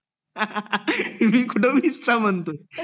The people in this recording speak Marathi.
मी कुठे वीस च म्हणतोय